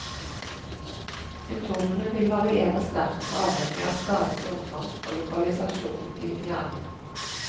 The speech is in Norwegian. Symptomene vil variere sterkt, avhengig av skadens omfang og lokalisasjon i hjernen.